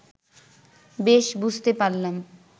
বেশ বুঝতে পারলাম